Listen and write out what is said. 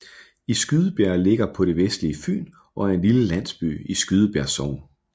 Skydebjerg ligger på det vestlige Fyn og er en lille landsby i Skydebjerg Sogn